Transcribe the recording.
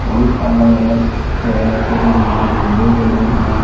और अलग-अलग तरह के यहा झंडे गड़े हैं।